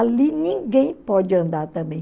Ali ninguém pode andar também.